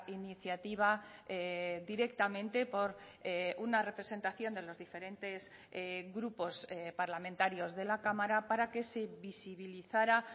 iniciativa directamente por una representación de los diferentes grupos parlamentarios de la cámara para que se visibilizara